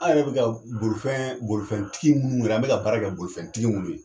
Aw yɛrɛ be ka bolifɛn bolifɛntigi minnu wɛrɛ an beka baara kɛ bolifɛntigi minnu ye